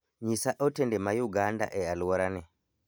nyisa otende ma uganda e aluora ni